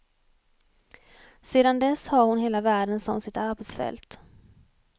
Sedan dess har hon hela världen som sitt arbetsfält.